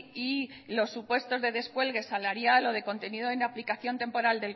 y los supuestos de descuelgue salarial o de contenido en aplicación temporal